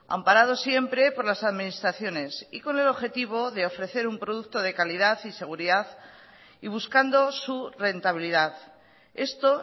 amparado siempre por las administraciones y con el objetivo de ofrecer un producto de calidad y seguridad y buscando su rentabilidad esto